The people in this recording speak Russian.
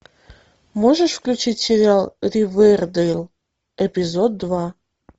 можешь включить сериал ривердейл эпизод два